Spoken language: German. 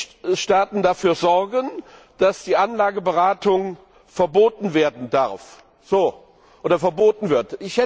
die Mitgliedstaaten dafür sorgen, dass die Anlageberatung verboten werden darf oder verboten wird